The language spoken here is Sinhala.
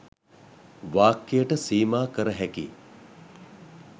වාක්‍යයකට සීමා කරහැකි